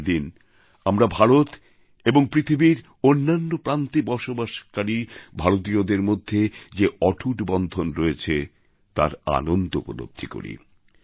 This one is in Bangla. এই দিন আমরা ভারত এবং পৃথিবীর অন্যান্য প্রান্তে বসবাসকারী ভারতীয়দের মধ্যে যে অটুট বন্ধন রয়েছে তার আনন্দ উপলব্ধি করি